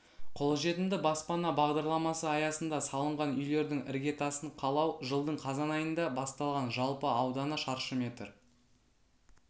қолжетімді баспана бағдарламасы аясында салынған үйлердің іргетасын қалау жылдың қазан айында басталған жалпы ауданы шаршы метр